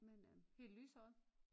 Men øh helt lyshåret